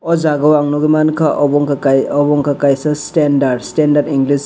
o jaga o ang nogoi magkha obo wngka kaisa abo wngkha kaisa standards standards english.